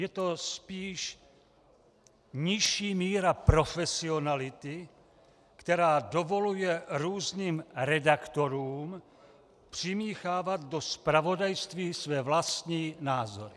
Je to spíš nižší míra profesionality, která dovoluje různým redaktorům přimíchávat do zpravodajství své vlastní názory.